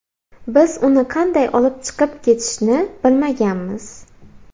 Biz uni qanday olib chiqib ketishni bilmaganmiz.